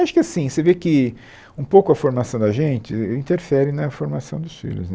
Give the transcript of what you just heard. Acho que assim, você vê que um pouco a formação da gente interfere na formação dos filhos né.